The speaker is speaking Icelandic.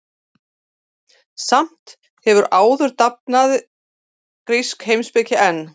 Samt sem áður dafnaði grísk heimspeki enn.